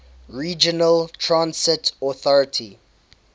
regional transit authority